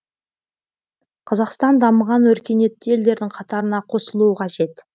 қазақстан дамыған өркениетті елдердің қатарына қосылуы қажет